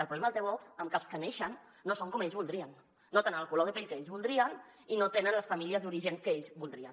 el problema el té vox en que els que neixen no són com ells voldrien no tenen el color de pell que ells voldrien i no tenen les famílies d’origen que ells voldrien